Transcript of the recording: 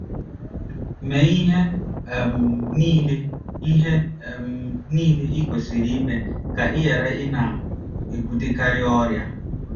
Mee ihe um niile ihe um niile i kwesịrị ime ka ị ghara ịna - ebutekarị ọrịa.